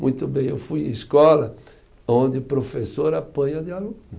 Muito bem, eu fui em escola onde o professor apanha de aluno.